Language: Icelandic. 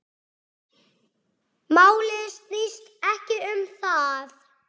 Málið snýst ekki um það.